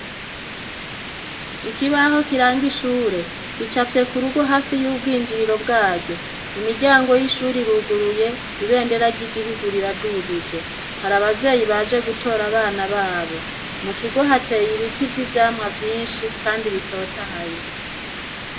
Iki baho kiranga ishure kicapye ku rugo hafi y'ubwinjiriro bwaryo. imiryango y'ishuri ruguruye ibendera ry'igihugur ira dugije. Hari abavyeyi baje gutora abana babo .Mu kigo hateye ibiti vyi vyamwa byinshi kandi bitotahaye.